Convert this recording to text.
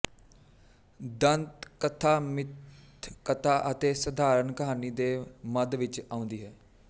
ਦੰਤ ਕਥਾ ਮਿੱਥ ਕਥਾ ਅਤੇ ਸਧਾਰਨ ਕਹਾਣੀ ਦੇ ਮਧ ਵਿੱਚ ਆਉਂਦੀ ਹੈ